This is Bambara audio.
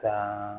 Ka